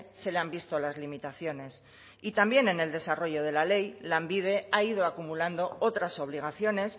se le han visto las limitaciones y también en el desarrollo de la ley lanbide ha ido acumulando otras obligaciones